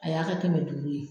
A y'a kɛmɛ duuru ye.